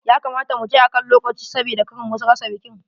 Ya kamata mu je akan lokaci sabida kar mu rasa bikin.